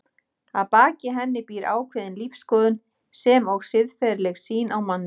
Að baki henni býr ákveðin lífsskoðun sem og siðferðileg sýn á manninn.